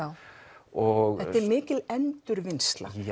og þetta er mikil endurvinnsla